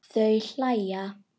Þau hlæja.